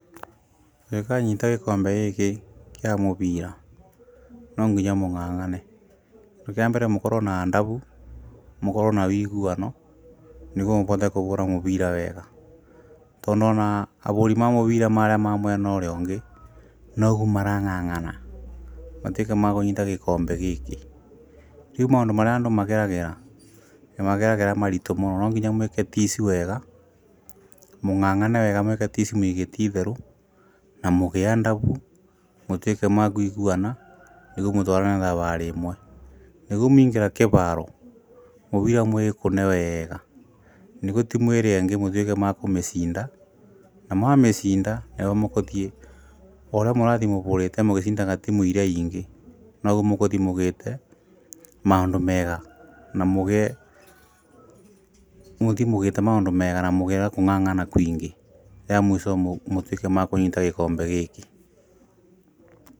Ũgĩ kanyita gĩkombe gĩkĩ kĩa mũbira no nginya mũng'ang'ane, kĩndũ kĩambere mũkorwo na adabu, mũkorwo na wĩiguano nĩguo mũbote kũbũra mũbira wega, tondũ ona abũri ma mũbira marĩa ma mwena ũrĩa ũngĩ, noguo marang'ang'ana matuĩke makũnyita gĩkombe gĩkĩ, rĩu maũndũ marĩa andũ mageragĩra nĩmageragĩra maritũ mũno no nginya mwĩke tici wega mũng'ang'ane mwĩke tici mwĩigĩte itherũ, na mũgĩe adabu mũtuĩke ma kũiguana, nĩguo mũtwarane thabarĩ ĩmwe nĩguo mwĩingĩra kĩbaro mũbira mũwĩkũ e wega, nĩgũo team ĩrĩa ĩngĩ mũtuĩke ma kũmĩcinda na mwamĩcinda nayo mũkũthiĩ o ũrĩa mũrathiĩ mũbũrĩte mũgĩcindaga team iria ingĩ, noguo mũkũthiĩ mũgĩĩte maũndũ mega, namũgĩe mũthĩi mugĩĩte maundũ mega na mũgĩe na kũng'ang'a kũingĩ, rĩa mũico mũtuĩke makũnyita gĩkombe gĩkĩ.